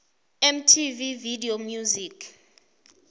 mtv video music